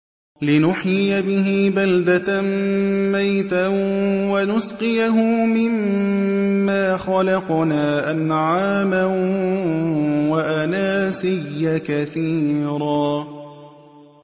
لِّنُحْيِيَ بِهِ بَلْدَةً مَّيْتًا وَنُسْقِيَهُ مِمَّا خَلَقْنَا أَنْعَامًا وَأَنَاسِيَّ كَثِيرًا